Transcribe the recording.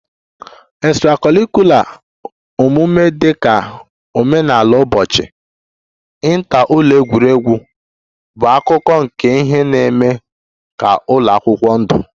Extra-curricular omume dị ka omenala ụbọchị, inter ụlọ egwuregwu bụ akụkụ nke ihe na-eme ka ụlọ akwụkwọ ndụ